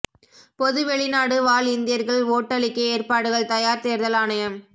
பொது வெளிநாடு வாழ் இந்தியர்கள் ஓட்டளிக்க ஏற்பாடுகள் தயார் தேர்தல் ஆணையம்